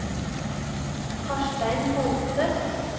Karstein Holte